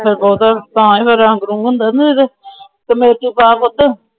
Committee ਪਾ ਪੁੱਤ।